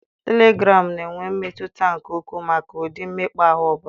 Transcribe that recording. Telegraamu na-enwe mmetụta nke ukwuu maka ụdị mmekpa ahụ ọ bụla.